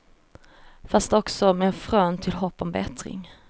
Fast också med frön till hopp om bättring.